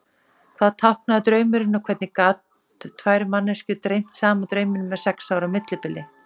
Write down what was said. Hvað táknaði draumurinn og hvernig gat tvær manneskjur dreymt sama drauminn með sex ára millibili?